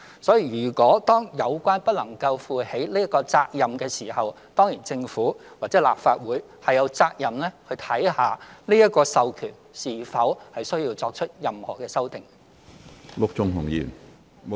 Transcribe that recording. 所以，如果有關組織不能夠負起這個責任時，政府或立法會當然有責任看看這個授權是否需要作出任何修訂。